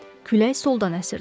Külək soldan əsirdi.